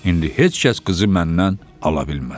İndi heç kəs qızı məndən ala bilməz.